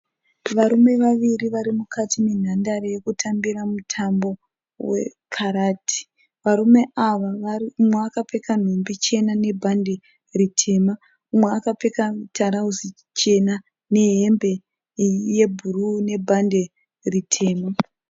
Varume vaviri varimukati menhandare yekutambira mutambo wekarati. Varume ava umwe akapfeka nhumbi chena nebhande ritema, umwe akapfeka mutarauzi muchena nehembe yebhuruu nebhande ritema.